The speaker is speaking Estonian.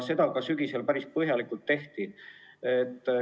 Seda sügisel päris põhjalikult ka tehti.